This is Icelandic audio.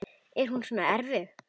Er hún svona erfið?